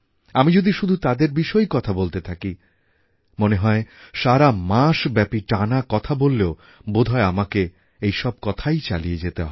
আমি যদি শুধু তাদের বিষয়েই কথা বলতে থাকি মনে হয় সারা মাস ব্যপী টানা কথা বললেও বোধহয় আমাকে এই সব কথাই চালিয়ে যেতে হবে